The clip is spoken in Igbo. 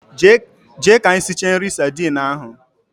Jee ka isicha nri sardine ahu.